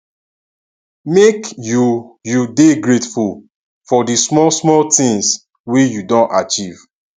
make you you dey grateful for di small small tins wey you don achieve